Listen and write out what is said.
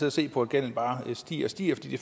og se på at gælden bare stiger og stiger fordi det